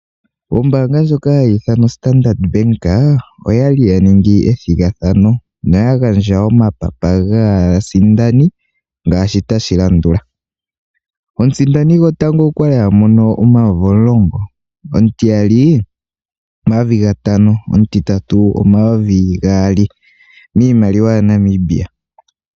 Ombanga ndjoka hayithanwa Standard Bank oyali yaningi ethingathano noyangandja omapapa ngasindani ngashi tashi landula, omusindani ngotango okwali amono omayovi omulongo, omutiyali omayovi ngatano, omutitatu omayovi gaali iimaliwa ya Namibia.